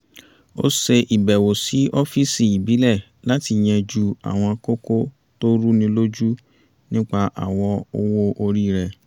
ó ṣe ìbẹ̀wò sí ọ́fíìsì ìbílẹ̀ láti yánjú àwọn kókó tó rú ni lójú nípa àwọ owó orí rẹ̀